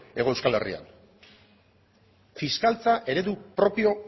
hego euskal herrian fiskaltza eredu propio